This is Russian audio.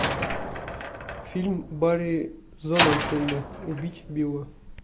фильм барри зонненфельда убить билла